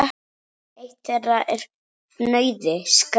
Eitt þeirra er fnauði: skræfa.